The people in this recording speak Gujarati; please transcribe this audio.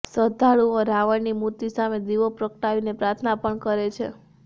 શ્રદ્ધાળુઓ રાવણની મૂર્તિ સામે દીવો પ્રગટાવીને પ્રાર્થના પણ કરે છે